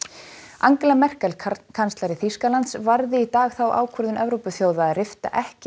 Angela Merkel kanslari Þýskalands varði í dag þá ákvörðun Evrópuþjóða að rifta ekki